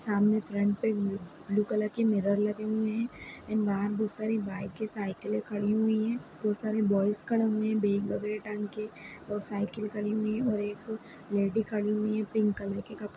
सामने फ्रंट पे blue blue colour की मिरर लगी हुई हैं एण्ड बाहर बहुत सारी बाइकें साईकिलें खड़ी हुई हैं बहुत सारे बॉयज खड़े हुए हैं बैग वगैरा टांग के और साइकिल खड़ी हुई हैं और एक लेडी खड़ी हुई हैं पिंक कलर के कपड़े --